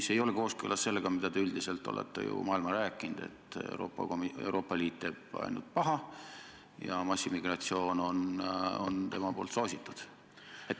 See ei ole kooskõlas sellega, mida te üldiselt olete ju maailmale rääkinud, et Euroopa Liit teeb ainult paha ja soosib massiimmigratsiooni.